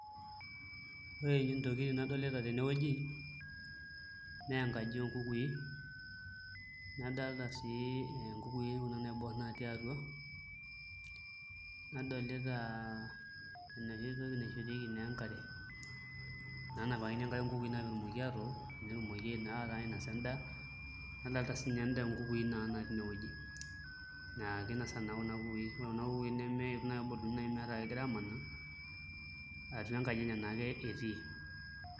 Ore ntokitin nadolita tenewueji naa enkaji oonkukui nadolta sii nkukui kuna naiborr natii atua aji nadolita enoshi toki naishorieki naa enkare enoshi napikakini nkukui enkare naa pee etumoki atook netumoki naa ainasa endaa nadolta siinche nkukui naatii inewueji ore naa kuna kukui negira aamaa atu enkaji enye naake etii.